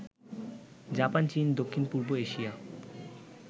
Japan, চীন, দক্ষিণ পূর্ব এশিয়া